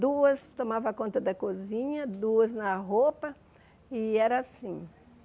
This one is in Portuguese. Duas tomava conta da cozinha, duas na roupa, e era assim.